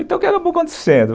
Então, o que acabou acontecendo?